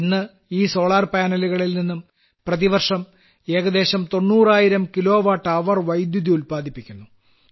ഇന്ന് ഈ സോളാർ പാനലുകളിൽനിന്നും പ്രതിവർഷം ഏകദേശം 90000 കിലോവാട്ട് അവർ വൈദ്യുതി ഉല്പാദിപ്പിക്കുന്നു